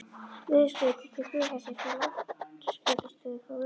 veðurskeyti til flughersins með loftskeytastöð frá Reykjavík